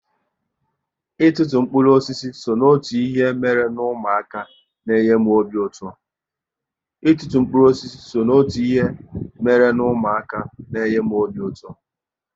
Ịtụtu mkpụrụ osisi so n'otu ihe mere n'umuaka n'enye m obi ụtọ